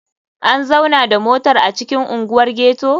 An zauna da motar a cikin unguwar ghetto?